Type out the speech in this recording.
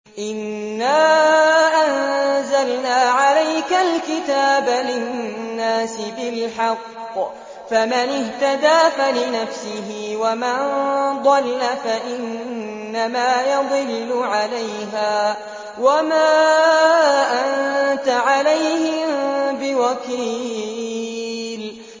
إِنَّا أَنزَلْنَا عَلَيْكَ الْكِتَابَ لِلنَّاسِ بِالْحَقِّ ۖ فَمَنِ اهْتَدَىٰ فَلِنَفْسِهِ ۖ وَمَن ضَلَّ فَإِنَّمَا يَضِلُّ عَلَيْهَا ۖ وَمَا أَنتَ عَلَيْهِم بِوَكِيلٍ